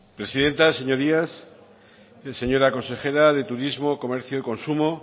presidenta señorías señora consejera de turismo comercio y consumo